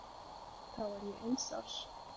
Þá var ég eins árs.